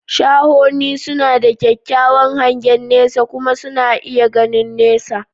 Shahoni suna da kyakkyawan hangen nesa kuma suna iya gani nesa.